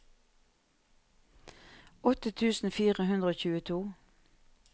åtte tusen fire hundre og tjueto